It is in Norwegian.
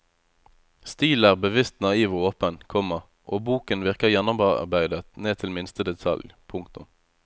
Stilen er bevisst naiv og åpen, komma og boken virker gjennomarbeidet ned til minste detalj. punktum